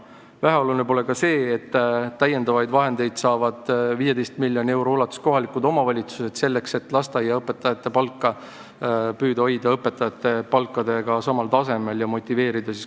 Väheoluline pole ka see, et kohalikud omavalitsused saavad 15 miljoni euro ulatuses lisaraha, et püüda lasteaiaõpetajatele palka maksta enam-vähem sama palju kui õpetajatele.